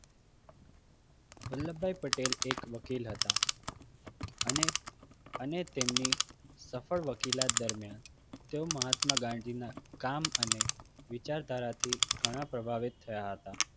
વલ્લભભાઈ પટેલ એક વકીલ હતા. અને અને તેમની સફળ વકીલાત દરમિયાન તેઓ મહાત્મા ગાંધીના કામ અને વિચારધારાથી ઘણા પ્રભાવીત થયા હતા